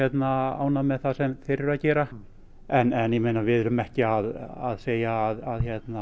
ánægð með það sem þeir eru að gera en ég meina við erum ekki að segja að